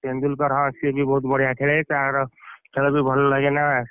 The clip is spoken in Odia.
ତେନ୍ଦୁଲକର ହଁ ସିଏ ବି ବହୁତ ବଢିଆ ଖେଳେ ତାର ଖେଳବି ଭଲ ଲାଗେ ନା,